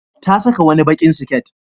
Ta saka wani baƙin siket.